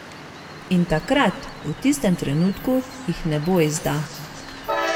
In takrat, v tistem trenutku, jih nebo izda.